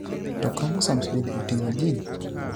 To chromosomes benide otinig'o geni e.